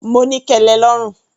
Mo ní kẹlẹ lọ́rùn.